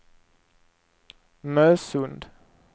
Nösund